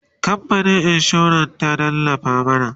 kamfanin insuran ta tallafa mana